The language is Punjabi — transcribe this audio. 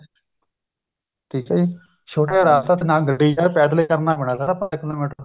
ਠੀਕ ਆ ਜੀ ਰਸਤਾ ਨਾ ਗੱਡੀ ਜਾਵੇ ਪੈਦਲ ਕਰਨਾ ਪੈਣਾ ਸਾਰਾ ਕਿਲੋਮੀਟਰ